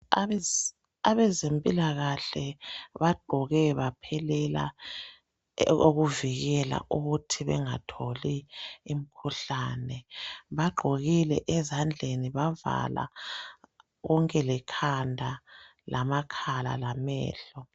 Abezempilakahle bagqoke baphelela ukuvikela ukuthi bengatholi imikhuhlane. Bagqokile ezadleni, avala konke lekhanda lamakhala lamehlo.